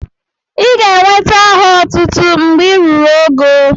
Ị ga enweta aha otútú mgbè ị rụrụ ógó